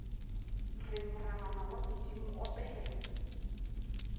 re morabana wa bodimo opela